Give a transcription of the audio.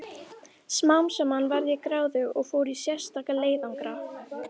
Smám saman varð ég gráðug og fór í sérstaka leiðangra.